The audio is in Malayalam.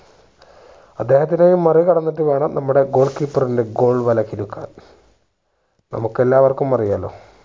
അദ്ദേഹത്തിനെ മറികടന്നിട്ടു വേണം നമ്മുടെ goal keeper ന്റെ goal വല കിലുക്കാൻ നമുക്ക് എല്ലാവർക്കും അറിയാലോ